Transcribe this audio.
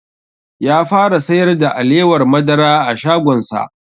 Ya fara sayar da alewar madara a shagon sa